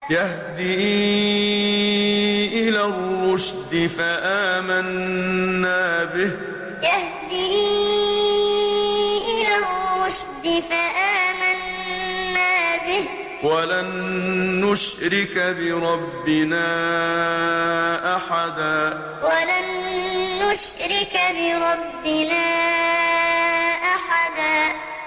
يَهْدِي إِلَى الرُّشْدِ فَآمَنَّا بِهِ ۖ وَلَن نُّشْرِكَ بِرَبِّنَا أَحَدًا يَهْدِي إِلَى الرُّشْدِ فَآمَنَّا بِهِ ۖ وَلَن نُّشْرِكَ بِرَبِّنَا أَحَدًا